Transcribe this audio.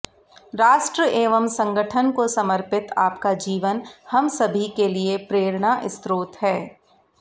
राष्ट्र एवं संगठन को समर्पित आपका जीवन हम सभी के लिए प्रेरणा स्रोत है